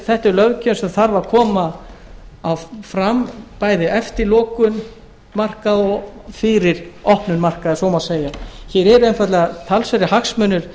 þetta er löggjöf sem þarf að koma fram bæði eftir lokun markaða og fyrir opnun markaða ef svo má segja því hér eru einfaldlega talsverðir hagsmunir